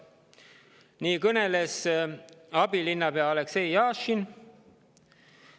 Sellest kõneles abilinnapea Aleksei Jašin.